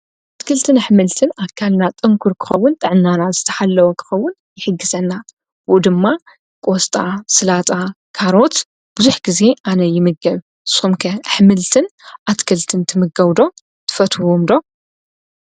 ኣትክልትን ኣኅምልትን ኣካልና ጠንኩር ክኸውን ጠዕናናት ዝተሓለወክኸውን ይሕግሰና ኡ ድማ ቖሱጣ ፣ሥላጣ ፣ካሮት፣ ብዙኅ ጊዜ ኣነ ይምገብ ሶምከ ኣኅምልትን ኣትክልትን ትምገውዶ ትፈትዎምዶ?